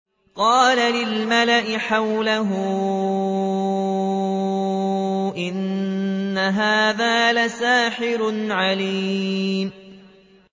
قَالَ لِلْمَلَإِ حَوْلَهُ إِنَّ هَٰذَا لَسَاحِرٌ عَلِيمٌ